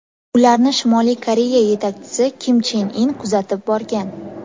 Ularni Shimoliy Koreya yetakchisi Kim Chen In kuzatib borgan.